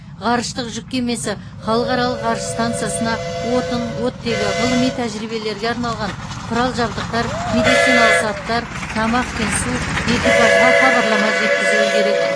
ғарыштық жүк кемесі халықаралық ғарыш стансасына отын оттегі ғылыми тәжірибелерге арналған құрал жабдықтар медициналық заттар тамақ пен су экипажға хабарлама жеткізуі керек